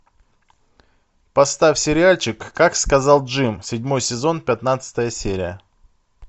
поставь сериальчик как сказал джим седьмой сезон пятнадцатая серия